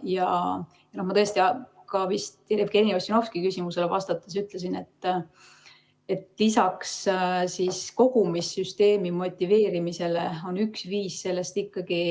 Ma vist ka Jevgeni Ossinovski küsimusele vastates ütlesin, et lisaks kogumissüsteemi motiveerimisele on üks viis ikkagi